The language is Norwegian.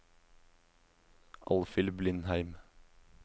Alfhild Blindheim